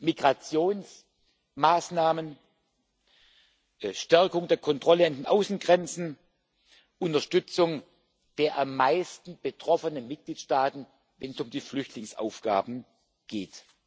Migrationsmaßnahmen, Stärkung der Kontrollen an den Außengrenzen, Unterstützung der am meisten betroffenen Mitgliedsstaaten, wenn es um die Flüchtlingsaufgaben geht.